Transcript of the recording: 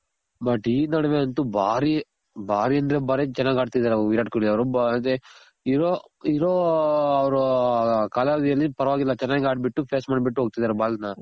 but ಈ ನಡ್ವೆ ಅಂತು ಬಾರಿ ಅಂದ್ರೆ ಬಾರಿ ಚೆನಾಗ್ ಆಡ್ತಿದಾರ್ ವಿರಾಟ್ ಕೊಹ್ಲಿ ಅವ್ರು. ಅದೆ ಇರೋ ಅವ್ರು ಕಾಲಾವಧಿಯಲ್ಲಿ ಪರವಾಗಿಲ್ಲ ಚೆನಾಗ್ ಆಡ್ಬಿಟ್ಟು face ಮಾಡ್ ಬಿಟ್ಟು ಹೋಗ್ತಿದಾರೆ ball ನ.